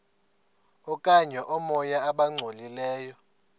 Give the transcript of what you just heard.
okanye oomoya abangcolileyo